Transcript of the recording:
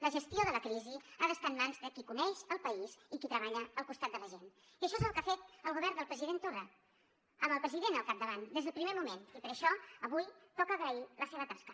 la gestió de la crisi ha d’estar en mans de qui coneix el país i qui treballa al costat de la gent i això és el que ha fet el govern del president torra amb el president al capdavant des del primer moment i per això avui toca agrair la seva tasca